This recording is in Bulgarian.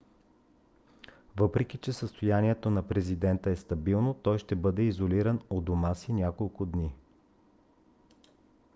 въпреки че състоянието на президента е стабилно той ще бъде изолиран у дома си няколко дни